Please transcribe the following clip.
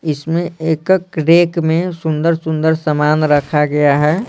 इसमें एकक रैक में सुंदर- सुंदर सामान रखा गया है।